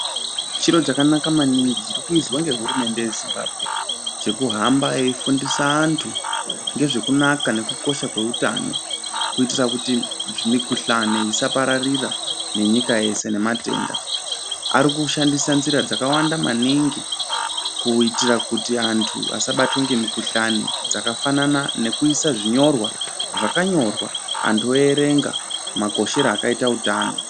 Chiro chakanaka maningi chirikuizwa nehurumende yezimbambwe. Chekuhamba eifundisa antu ngezvekunaka nekukosha kweutano. Kuitira kuti mikuhlani isaparira nenyika yese nematenda. Ari kushandisa nzira dzakawanda maningi kuitira kuti antu asabatwe ngemikuhlani. Dzakafanana nekuiswa zvinyorwa zvakanyorwa antu voverenga makoshero akaita utano.